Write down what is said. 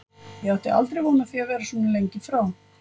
Ég átti aldrei von á því að vera svona lengi frá.